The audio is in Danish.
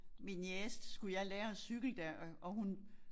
Min niece skulle jeg lære at cykle da og og hun